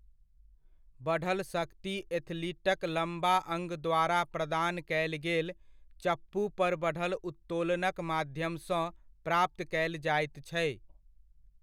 बढ़ल शक्ति एथलीटक लम्बा अङ्ग द्वारा प्रदान कयल गेल चप्पूपर बढ़ल उत्तोलनक माध्यमसँ प्राप्त कयल जाइत छै।